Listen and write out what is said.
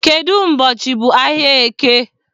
Kedụ ụbọchị bụ ahịa eke?